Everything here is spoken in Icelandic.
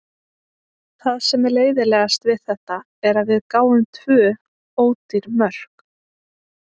Það sem er leiðinlegast við þetta er að við gáfum tvö ódýr mörk.